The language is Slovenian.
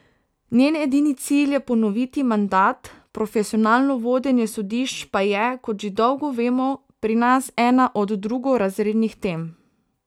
Njen edini cilj je ponoviti mandat, profesionalno vodenje sodišč pa je, kot že dolgo vemo, pri nas ena od drugorazrednih tem.